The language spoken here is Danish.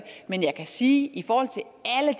men jeg kan sige at